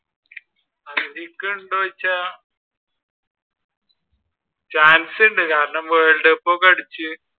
അർഹിക്കുന്നുണ്ടോ എന്ന് വെച്ചാൽ chance ഉണ്ട്, കാരണം world cup ഒക്കെ അടിച്ചു